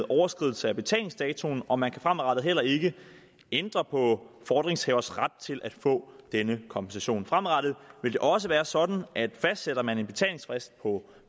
overskridelse af betalingsdatoen og man kan fremadrettet heller ikke ændre på fordringshavers ret til at få denne kompensation fremadrettet vil det også være sådan at fastsætter man en betalingsfrist på